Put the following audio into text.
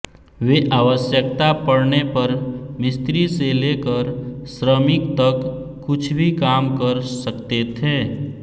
वे आवश्यकता पड़ने पर मिस्त्री से लेकर श्रमिक तक कुछ भी काम कर सकते थे